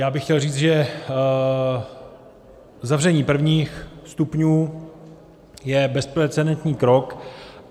Já bych chtěl říct, že zavření prvních stupňů je bezprecedentní krok.